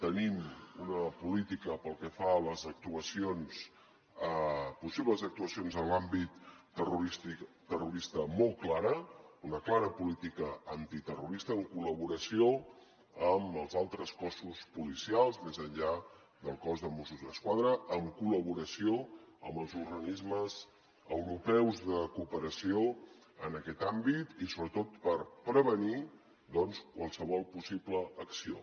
tenim una política pel que fa a les actuacions possibles actuacions en l’àmbit terrorista molt clara una clara política antiterrorista en col·laboració amb els altres cossos policials més enllà del cos de mossos d’esquadra en col·laboració amb els organismes europeus de cooperació en aquest àmbit i sobretot per prevenir doncs qualsevol possible acció